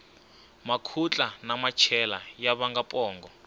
makhutla na machela ya vanga pongo